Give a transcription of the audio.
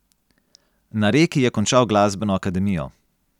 Na Reki je končal glasbeno akademijo.